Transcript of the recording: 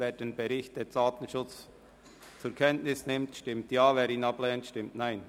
Wer den Bericht der DSA zur Kenntnis nimmt, stimmt Ja, wer dies ablehnt, stimmt Nein.